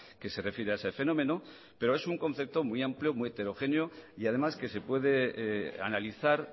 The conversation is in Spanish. que se refiere a ese fenómeno pero es un concepto muy amplio muy heterogéneo y además que se puede analizar